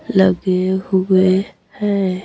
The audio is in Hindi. लगे हुए हैं।